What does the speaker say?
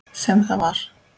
Sem það var.